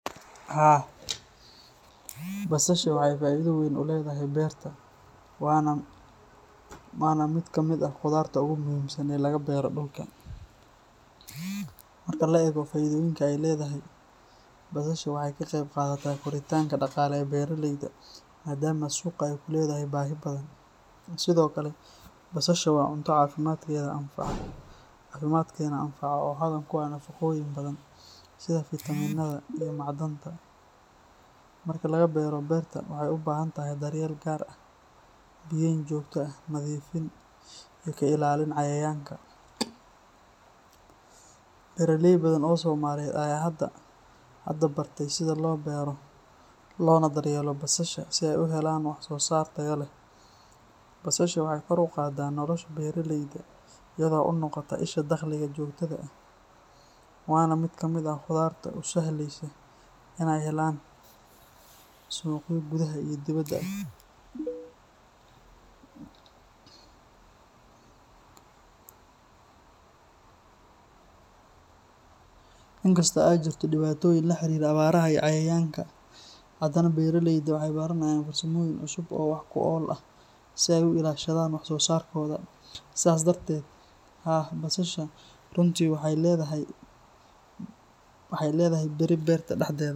Haa, basasha waxay faa’iido weyn u leedahay beerta, waana mid ka mid ah khudaarta ugu muhiimsan ee laga beero dhulka. Marka la eego faa’iidooyinka ay leedahay, basasha waxay ka qayb qaadataa koritaanka dhaqaale ee beeraleyda maadaama suuqa ay ku leedahay baahi badan. Sidoo kale, basasha waa cunto caafimaadkeena anfaca oo hodan ku ah nafaqooyin badan sida fitamiinada iyo macdanta. Marka laga beero beerta, waxay u baahan tahay daryeel gaar ah, biyayn joogto ah, nadiifin, iyo ka ilaalin cayayaanka. Beeraley badan oo Soomaaliyeed ayaa hadda bartay sida loo beero loona daryeelo basasha si ay u helaan wax-soo-saar tayo leh. Basasha waxay kor u qaaddaa nolosha beeraleyda iyada oo u noqota isha dakhliga joogtada ah, waana mid ka mid ah khudaarta u sahlaysa inay helaan suuqyo gudaha iyo dibadda ah. In kastoo ay jirto dhibaatooyin la xiriira abaaraha iyo cayayaanka, haddana beeraleydu waxay baranayaan farsamooyin cusub oo wax-ku-ool ah si ay u ilaashadaan wax-soo-saarkooda. Sidaas darteed, haa, basasha runtii waxay leedahay beri beerta dhexdeeda.